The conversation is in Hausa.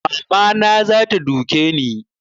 Mama na zata duke ni